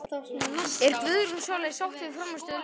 Er Guðrún Sóley sátt við frammistöðu liðsins?